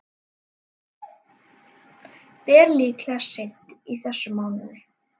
Ber líklega seint í þessum mánuði.